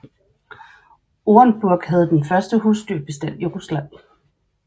Orenburg havde den største husdyrbestand i Rusland